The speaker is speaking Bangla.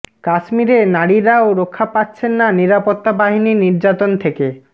কাশ্মিরে নারীরাও রক্ষা পাচ্ছেন না নিরাপত্তা বাহিনীর নির্যাতন থেকে